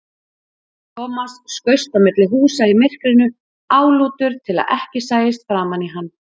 Thomas skaust á milli húsa í myrkrinu, álútur til að ekki sæist framan í hann.